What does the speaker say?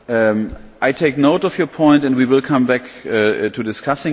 I take note of your point and we will come back to discussing it.